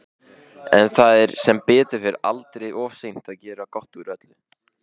En það er sem betur fer aldrei of seint að gera gott úr öllu.